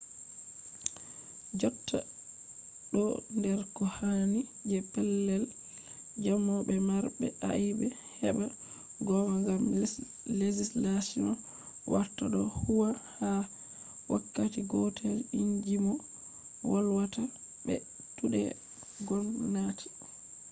jotta ɗo der ko hani je pellel jamo be marɓe aibe heɓa gonga gam legislation warta ɗo huwwa ha wakkati gotel inji mo volwata be tuɗe gomnati